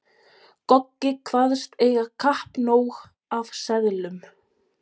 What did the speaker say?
Goggi kvaðst eiga kappnóg af seðlum.